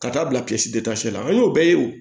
Ka taa bila kilasi la an y'o bɛɛ ye o